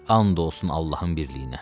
And olsun Allahın birliyinə.